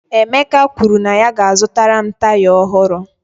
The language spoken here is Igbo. Emeka kwuru na ya ga-azụtara m taya ọhụrụ